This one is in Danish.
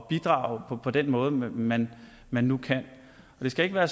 bidrage på den måde man man nu kan det skal ikke være